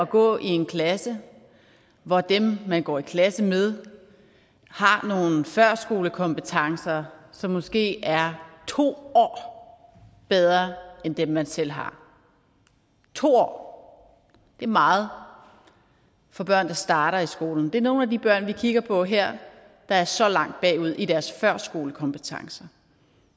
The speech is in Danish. gå i en klasse hvor dem man går i klasse med har nogle førskolekompetencer som måske er to år bedre end dem man selv har to år er meget for børn der starter i skolen det er nogle af de børn vi kigger på her der er så langt bagud i deres førskolekompetencer